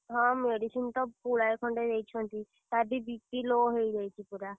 ହଁ medicine ତ ପୁଳାଏ ଖଣ୍ଡେ ଦେଇଛନ୍ତି। ତାର ବି BP low ହେଇଯାଇଛି ପୁରା।